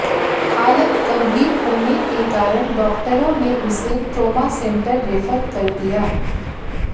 हालत गंभीर होने के कारण डॉक्टरों ने उसे ट्रॉमा सेंटर रेफर कर दिया